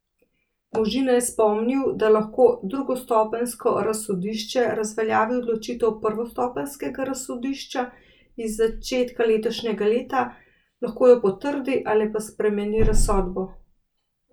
Možina je spomnil, da lahko drugostopenjsko razsodišče razveljavi odločitev prvostopenjskega razsodišča iz začetka letošnjega leta, lahko jo potrdi ali pa spremeni razsodbo.